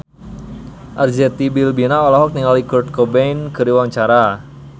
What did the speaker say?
Arzetti Bilbina olohok ningali Kurt Cobain keur diwawancara